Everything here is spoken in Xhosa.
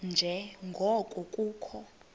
nje ngoko kukho